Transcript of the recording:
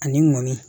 Ani mɔni